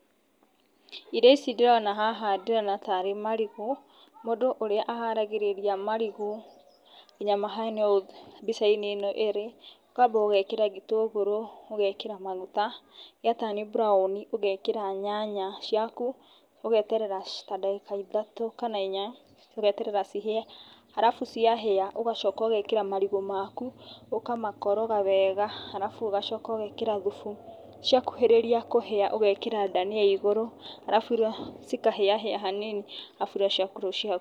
Irio ici ndĩrona haha ndĩrona tarĩ marigũ, mũndũ ũrĩa aharagĩrĩria marigũ nginya mahene ũũ mbicainĩ ĩno ĩrĩ, kwamba ũgekĩra gĩtũngũrũ ũgekĩra maguta, ya turn brown ũgekĩra nyanya ciaku, ũgeterera ta ndagĩka ithatũ kana inya ũgeterera cihĩe arafu ciahĩa ũgacoka ũgekĩra marigũ maku ũkamakoroga wega arafu ũgacoka ũgekĩra thubu, ciakuhĩrĩria kũhĩa ũgekĩra ndania igũrũ, arafu cikahĩahĩa hanini.